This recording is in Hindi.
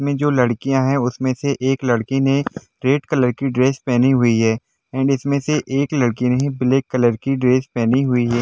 इसमें जो लड़कियां है उसमें से एक लड़की ने रेड कलर की ड्रेस पहनी हुई है एंड इसमें से एक लड़की ने ब्लैक कलर की ड्रेस पहनी हुई है।